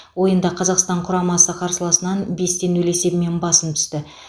ойында қазақстан құрамасы қарсыласынан бес те нөл есебімен басым түсті